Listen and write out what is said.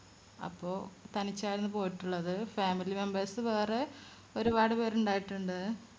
അപ്പോ തനിച്ചായിരുന്നു പോയിട്ടുള്ളത് family members വേറെ ഒരുപാട് പേർ ഉണ്ടായിട്ടുണ്ട്